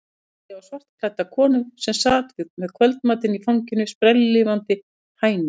Góndi á svartklædda konu sem sat með kvöldmatinn í fanginu, sprelllifandi hænu.